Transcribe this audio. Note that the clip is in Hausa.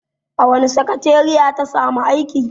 A wace sakateriya ta samu aiki?